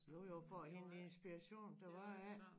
Jo jo for at hente inspiration der var ikke